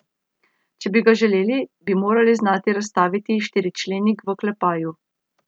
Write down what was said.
Če bi ga želeli, bi morali znati razstaviti štiričlenik v oklepaju.